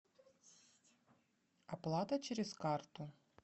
оплата через карту